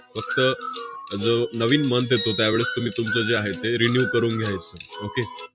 फक्त जो नवीन month येतो, त्यावेळेस तुम्ही तुमचं जे आहे, ते renew करून घ्यायचं. okay